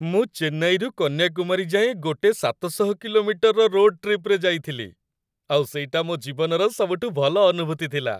ମୁଁ ଚେନ୍ନାଇରୁ କନ୍ୟାକୁମାରୀ ଯାଏଁ ଗୋଟେ ୭୦୦ କିଲୋମିଟରର ରୋଡ଼୍‌ ଟ୍ରିପ୍‌ରେ ଯାଇଥିଲି, ଆଉ ସେଇଟା ମୋ' ଜୀବନର ସବୁଠୁ ଭଲ ଅନୁଭୂତି ଥିଲା ।